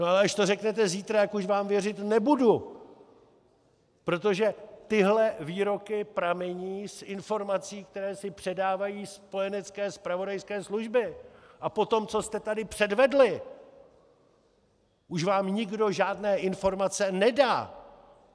No ale až to řeknete zítra, tak už vám věřit nebudu, protože tyhle výroky pramení z informací, které si předávají spojenecké zpravodajské služby, a po tom, co jste tady předvedli, už vám nikdo žádné informace nedá.